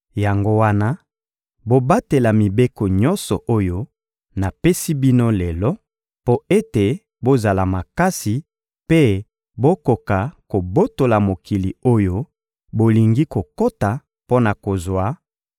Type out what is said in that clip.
Yango wana, bobatela mibeko nyonso oyo napesi bino lelo mpo ete bozala makasi mpe bokoka kobotola mokili oyo bolingi kokota mpo na kozwa